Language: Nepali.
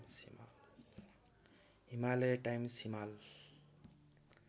हिमालय टाइम्स हिमाल